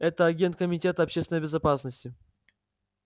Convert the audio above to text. это агент комитета общественной безопасности